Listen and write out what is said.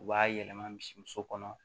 U b'a yɛlɛma misimuso kɔnɔ